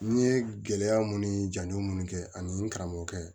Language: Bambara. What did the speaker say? N ye gɛlɛya mun ni jamu munnu kɛ ani n karamɔgɔkɛ